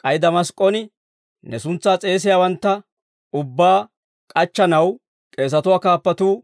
K'ay Damask'k'on ne suntsaa s'eesiyaawantta ubbaa k'achchanaw, k'eesatuwaa kaappatuu